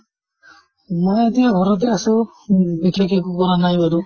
মই আজি ঘৰতে আছো, বিশেষ একো কৰা নাই বাৰু।